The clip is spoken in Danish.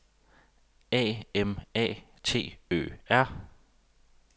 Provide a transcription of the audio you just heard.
A M A T Ø R